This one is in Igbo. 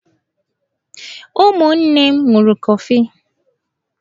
Ụmụnne m ṅụrụ kọfi.